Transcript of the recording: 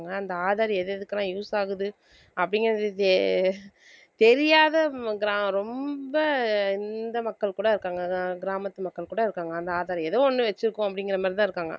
அந்த aadhar எது எதுக்கெல்லாம் use ஆகுது அப்படிங்கறது தெ~ தெரியாத கிர~ ரொம்ப இந்த மக்கள் கூட இருக்காங்க அஹ் கிராமத்து மக்கள் கூட இருக்காங்க அந்த aadhar எதோ ஒண்ணு வச்சிருக்கோம் அப்படிங்கிற மாதிரிதான் இருக்காங்க